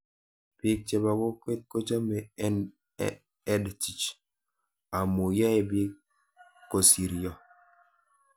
Pik chepo kokwet kochamei EdTech amu yae pik kosiryo